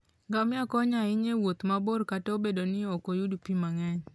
Ngamia konyo ahinya e wuoth mabor kata obedo ni ok oyud pi mang'eny.